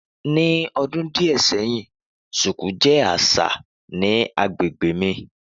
Ni ọdun diẹ sẹhin, shuku jẹ aṣa aṣa ni agbegbe mi.